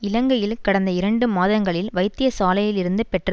இலங்கையில் கடந்த இரண்டு மாதங்களில் வைத்தியசாலையிலிருந்து பெற்ற